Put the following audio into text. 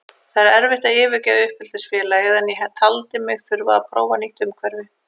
Það er erfitt að yfirgefa uppeldisfélagið en ég taldi mig þurfa að prófa nýtt umhverfi.